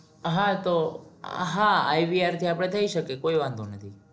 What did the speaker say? હા તો હા IVR થી આપડે થઈ શકે. કોઈ વાંધો નથી.